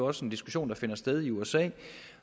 også en diskussion der finder sted i usa